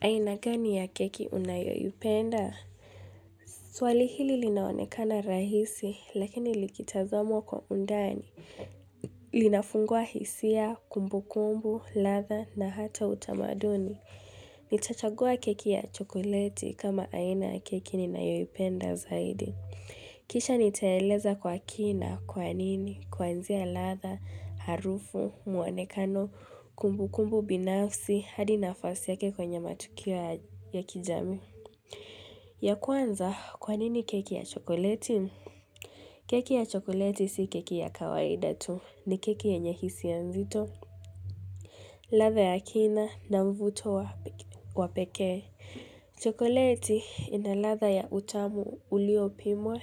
Aina gani ya keki unayoipenda? Swali hili linaonekana rahisi, lakini likitazamwa kwa undani. Linafungua hisia, kumbu kumbu, radha na hata utamaduni. Nitachagua keki ya chokoleti kama aina ya keki ninayoipenda zaidi. Kisha nitaeleza kwa kina, kwa nini, kwanzia radha, harufu, muonekano, kumbu kumbu binafsi, hadi nafasi yake kwenye matukia ya kijami. Ya kwanza, kwa nini keki ya chokoleti? Keki ya chokoleti si keki ya kawaida tu. Ni keki yenye hisia ya mzito. Radha ya kina na mvuto wa pekee. Chokoleti ina radha ya utamu ulio pimwa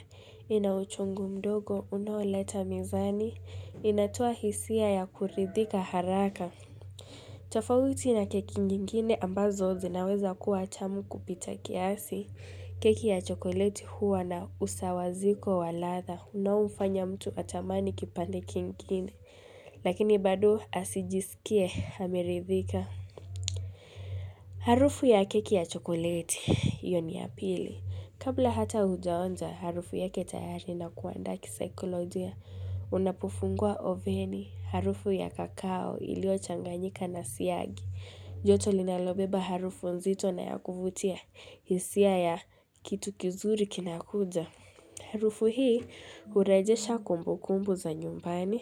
ina uchungu mdogo unaoleta mizani. Inatoa hisia ya kuridhika haraka. Tafauti na keki nyingine ambazo zinaweza kuwa tamu kupita kiasi, keki ya chokoleti huwa na usawaziko wa radha unaofanya mtu atamani kipande kingine, lakini bado asijisikie ameridhika. Harufu ya keki ya chokoleti, hiyo ni ya pili. Kabla hata ujaonja harufu yake tayari na kuanda kisikoloja. Unapufungua oveni, harufu ya kakao iliyo changanyika na siagi. Joto linalobeba harufu nzito na ya kufutia, hisia ya kitu kizuri kinakuja. Harufu hii urejesha kumbu kumbu za nyumbani,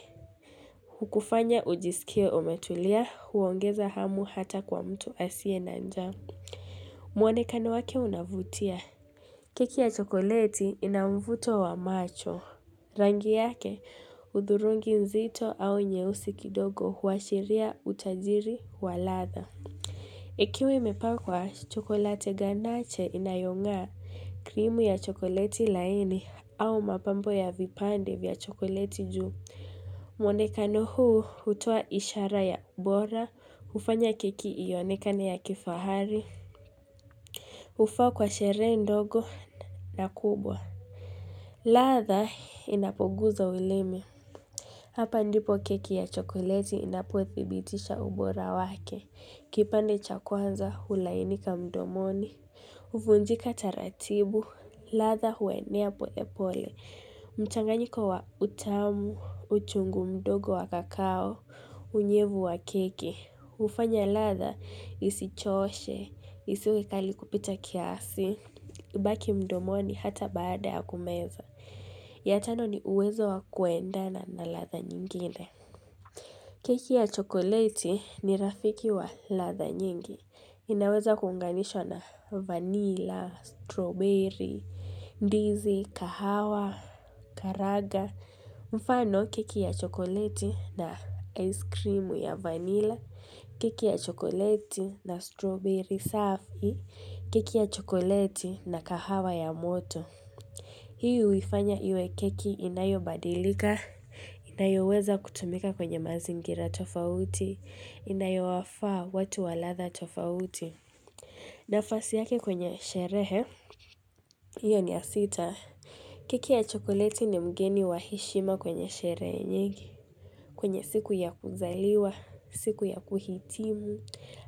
hukufanya ujisikia umetulia, huongeza hamu hata kwa mtu asiye na njaa mwonekano wake unavutia. Keki ya chokoleti ina mvuto wa macho. Rangi yake, udhurungi mzito au nyeusi kidogo huashiria utajiri wa radha. Ikiwe imepakwa, chokolate ganache inayonga krimu ya chokoleti laini au mapambo ya vipande vya chokoleti juu. Mwonekano huu hutua ishara ya ubora, ufanya keki ionekane ya kifahari, ufaa kwa sherehe ndogo na kubwa. Radha inapoguza ulimi. Hapa ndipo keki ya chokoleti inapo thibitisha ubora wake. Kipande cha kwanza hulainika mdomoni. Uvunjika taratibu. Radha huenea pole pole. Mchanganyiko wa utamu, uchungu mdogo wa kakao, unyevu wa keki. Ufanya radha isichoshe, isiwe kali kupita kiasi. Ibaki mdomoni hata baada ya kumeza. Ya tano ni uwezo wa kuendana na radha nyingine. Keki ya chokoleti ni rafiki wa radha nyingi. Inaweza kuunganishwa na vanilla, strawberry, ndizi, kahawa, karanga. Mfano keki ya chokoleti na ice cream ya vanilla. Keki ya chokoleti na strawberry saafi. Kiki ya chokoleti na kahawa ya moto. Hii uifanya iwe keki inayo badilika, inayoweza kutumika kwenye mazingira tofauti, inayo wafaa watu wa radha tofauti. Nafasi yake kwenye sherehe, hiyo ni ya sita. Keki ya chokoleti ni mgeni wa heshima kwenye sherehe nyingi. Kwenye siku ya kuzaliwa, siku ya kuhitimu,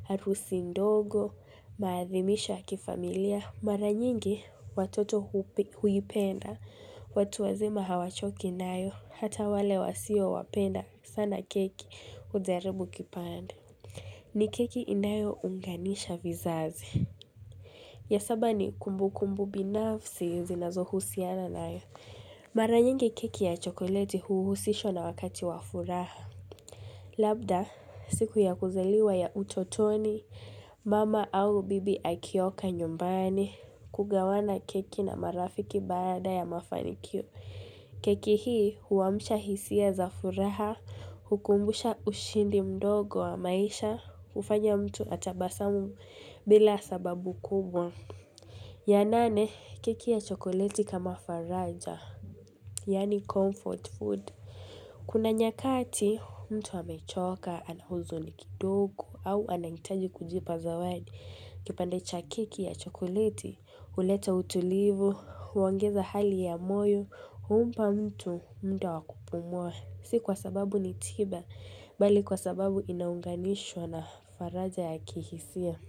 harusi ndogo, maathimisha kifamilia. Mara nyingi watoto huipenda, watu wazima hawachoki inayo, hata wale wasio wapenda sana keki uzeribu kipande. Ni keki inayo unganisha vizazi. Ya saba ni kumbu kumbu binafsi zinazohusiana nayo Mara nyingi keki ya chokoleti huuhusishwa na wakati wa furaha. Labda, siku ya kuzeliwa ya utotoni, mama au bibi akioka nyumbani, kugawana keki na marafiki baada ya mafanikio. Keki hii huamusha hisia za furaha, hukumbusha ushindi mdogo wa maisha, ufanya mtu atabasamu bila sababu kubwa. Ya nane, keki ya chokoleti kama faraja, yaani comfort food. Kuna nyakati mtu wamechoka ana huzuni kidogo au anangitaji kujipa zawadi kipande cha keki ya chokoliti, uleta utulivu, uangeza hali ya moyo, umpa mtu muda wa kupumua Si kwa sababu nitiba, bali kwa sababu inaunganishwa na faraja ya kihisia.